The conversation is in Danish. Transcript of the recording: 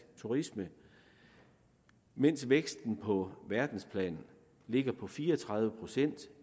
turisme mens væksten på verdensplan ligger på fire og tredive procent